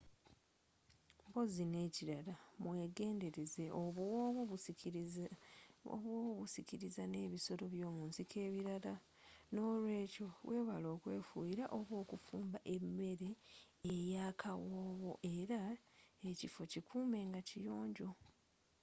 mpozi nekilala mwegendeleza obuwoowo busikiriza n'ebisoro byomunsiko ebirala n'olweekyo wewale okwefuuyira oba okufumba emere eyakawoowo era ekifo kikuume nga kiyonjo